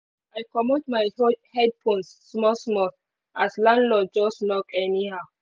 i komot my headphones small small as landlord just knock anyhow